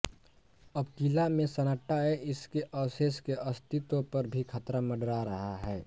अब किला में सन्नाटा है इसके अवशेष के अस्तित्व पर भी खतरा मंडरा रहा है